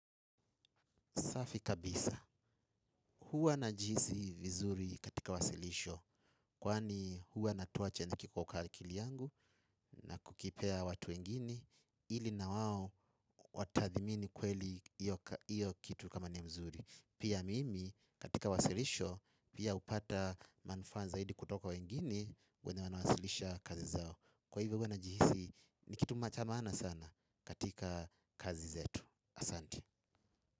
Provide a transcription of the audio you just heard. Safi kabisa. Huwa najihisi vizuri katika wasilisho. Kwani huwa natoa chenye na kiko ka akili yangu na kukipea watu wengine ili na wao watadhimini kweli iyo kitu kama ni mzuri. Pia mimi katika wasilisho pia upata manufaa zaidi kutoka wengine wanawasilisha kazi zao. Kwa hivyo huwa najihisi ni kitu macha maana sana katika kazi zetu. Asante.